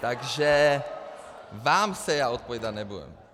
Takže vám se já odpovídat nebudu.